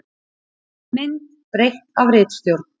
Mynd breytt af ritstjórn.